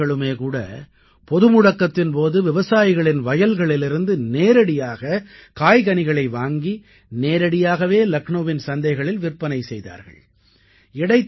இவர்களுமே கூட பொதுமுடக்கத்தின் போது விவசாயிகளின் வயல்களிலிருந்து நேரடியாக காய்கனிகளை வாங்கி நேரடியாகவே லக்னௌவின் சந்தைகளில் விற்பனை செய்தார்கள்